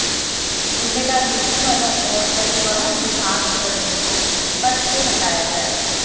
जिम्मेदार पुलिसवालों और परिवहन विभाग के कर्मियों को पद से हटाया जाए